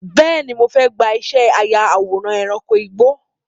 Bẹ́ẹ̀ni, mo fẹ́ gbà ìṣẹ́ aya àwòrán ẹranko igbó.